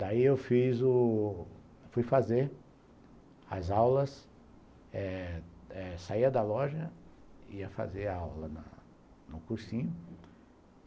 Daí eu fui fazer as aulas eh eh saía da loja, ia fazer a aula no cursinho.